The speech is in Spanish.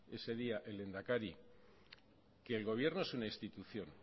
ese día el lehendakari que el gobierno es una institución